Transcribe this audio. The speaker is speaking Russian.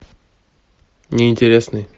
неинтересный